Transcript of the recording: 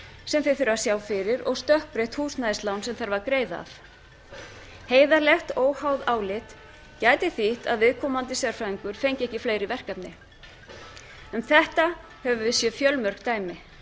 sem þeir þurfa að sjá fyrir og stökkbreytt húsnæðislán sem þarf að greiða af heiðarlegt óháð álit gæti þýtt að viðkomandi sérfræðingur fengi ekki fleiri verkefni um þetta höfum við séð fjölmörg dæmi